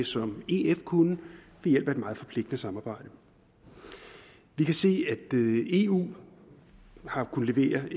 som ef kunne ved hjælp af et meget forpligtende samarbejde vi kan se at eu har kunnet levere